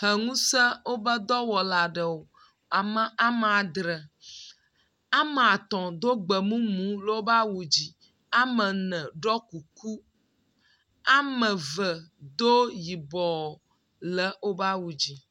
Heŋusẽ wobe dɔwɔla aɖewo, ame ama dre, ame atɔ̃ do gbemumu le wobe awu dzi, ame ene ɖɔ kuku, ame eve do yibɔ le wobe awu dzi.